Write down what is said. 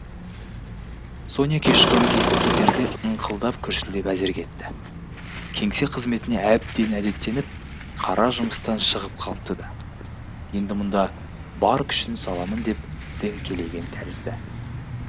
соня кешқұрым кетерде ыңқылдап күрсілдеп әзер кетті кеңсе қызметіне әбден әдеттеніп қара жұмыстан шығып қалыпты да енді мұнда бар күшін саламын деп діңкелеген тәрізді